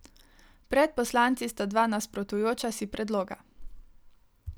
Pred poslanci sta dva nasprotujoča si predloga.